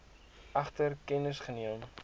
egter kennis geneem